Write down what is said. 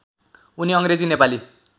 उनी अङ्ग्रेजी नेपाली